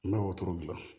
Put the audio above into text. N bɛ wotoro dilan